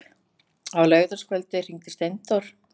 Á laugardagskvöldið hringdi Steindór.